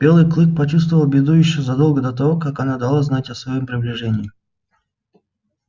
белый клык почувствовал беду ещё задолго до того как она дала знать о своём приближении